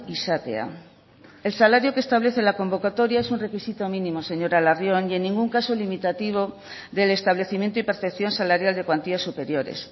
izatea el salario que establece la convocatoria es un requisito mínimo señora larrion ni en ningún caso limitativo del establecimiento y percepción salarial de cuantías superiores